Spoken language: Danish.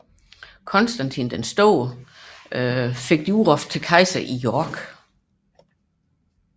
Konstantin den Store bliver udråbt til kejser i York